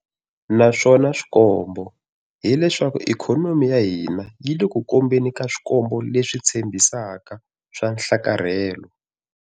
Naswona swikombo hileswaku ikhonomi ya hina yi le ku kombeni ka swikombo leswi tshembis aka swa nhlakarhelo.